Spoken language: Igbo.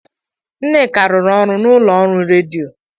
Nneka rụrụ ọrụ n'ụlọ ọrụ redio.